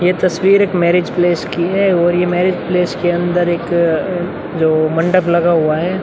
ये तस्वीर एक मैंरिज प्लेस की है और मैंरिज प्लेस के अन्दर एक जो मंडप लगा हुआ है।